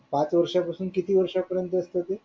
पाच वर्षापासून किती किती वर्षापर्यंत असतो ते